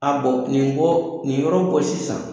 A bɔ nin ko nin yɔrɔ ko sisan